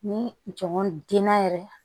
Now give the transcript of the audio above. Ni jɔn denna yɛrɛ